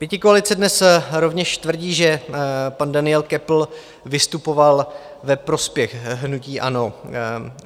Pětikoalice dnes rovněž tvrdí, že pan Daniel Köppl vystupoval ve prospěch hnutí ANO.